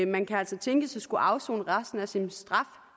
man kan altså tænkes at skulle afsone resten af sin straf